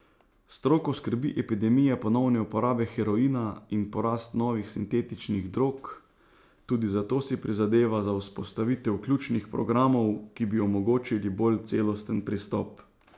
Stroko skrbi epidemija ponovne uporabe heroina in porast novih sintetičnih drog, tudi zato si prizadeva za vzpostavitev ključnih programov, ki bi omogočili bolj celosten pristop.